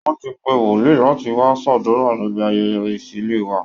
Wọ́n ti pe wòlíì láti wá ṣàdúrà níbi ayẹyẹ ìṣílé wa